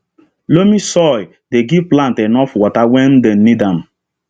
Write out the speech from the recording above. loamy soil dey give plant enough water when dem need am